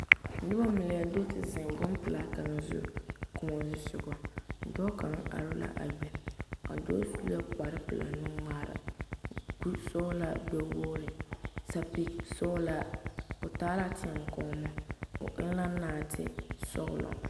Noba mine do te zeŋ bompelaa kaŋa zu kõɔ zu sogɔ, dɔɔ kaŋa are la a be a dɔɔ su la kpare pelaa nu-ŋmaara, kuri sɔgelaa gbɛ-wogiri, sapigi sɔɔlaa, o taa teɛkɔɔmo, o eŋ la naatesɔgelɔ.